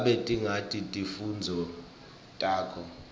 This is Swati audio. ngabe tingaki timfundvo takho